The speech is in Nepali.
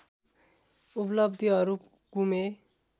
उपलब्धिहरू गुमे